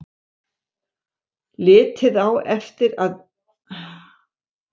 Liðið á eftir að tryllast af aðdáun þegar það sér þig og heyrir sagði